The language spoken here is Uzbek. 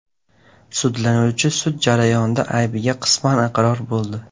Sudlanuvchi sud jarayonida aybiga qisman iqror bo‘ldi.